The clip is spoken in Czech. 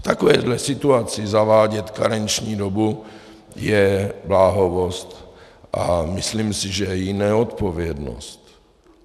V takovéhle situaci zavádět karenční dobu je bláhovost a myslím si, že i neodpovědnost.